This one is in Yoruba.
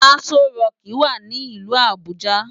Asó ròki wá ni ilù Abuja